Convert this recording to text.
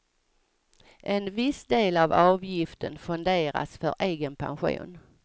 En viss del av avgiften fonderas för egen pension.